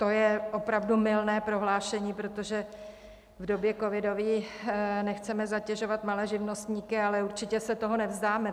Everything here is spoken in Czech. To je opravdu mylné prohlášení, protože v době covidové nechceme zatěžovat malé živnostníky, ale určitě se toho nevzdáme.